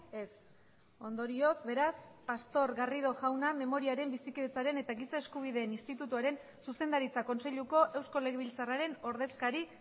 ez ondorioz beraz pastor garrido jauna memoriaren bizikidetzaren eta giza eskubideen institutuaren zuzendaritza kontseiluko eusko legebiltzarraren ordezkari